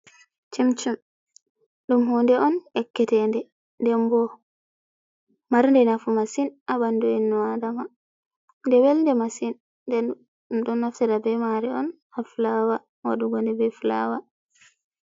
Chimchim ɗum hunde on ekkete, nde, nden bo mar nde nafu masin ha ɓandu innu adama, nde wel nde masin. Nden ɗum ɗo naftira be mari on hafulawa waɗugo nde be fulawa.